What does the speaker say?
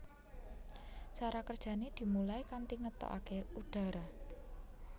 Cara kerjane dimulai kanthi ngetokake udara